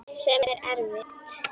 Sem er erfitt.